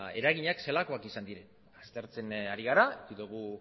eraginak zelakoak izan diren aztertzen ari gara eduki dugu